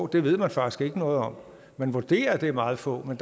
det ved man faktisk ikke noget om man vurderer at det er meget få men